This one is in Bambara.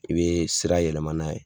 I bɛ sira yɛlɛma n'a ye.